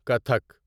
Kathak